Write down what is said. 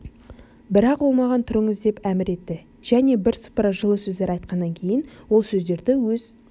бірақ ол маған тұрыңыз деп әмір етті және бірсыпыра жылы сөздер айтқаннан кейін ол сөздерді өз